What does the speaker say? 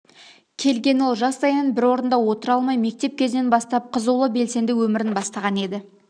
келген ол жастайынан бір орында отыра алмай мектеп кезінен бастап қызулы белсенді өмірін бастаған еді